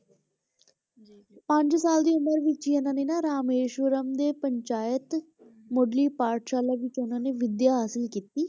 ਪੰਜ ਸਾਲ ਦੀ ਉਮਰ ਵਿੱਚ ਹੀ ਇਹਨਾਂ ਨੇ ਨਾ ਰਾਮੇਸ਼ਵਰਮ ਦੇ ਪੰਚਾਇਤ ਮੁਢਲੀ ਪਾਠਸ਼ਾਲਾ ਵਿੱਚ ਉਹਨਾਂ ਨੇ ਵਿਦਿਆ ਹਾਸਲ ਕੀਤੀ,